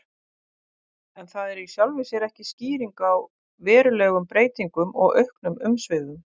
En það er í sjálfu sér ekki skýring á verulegum breytingum og auknum umsvifum.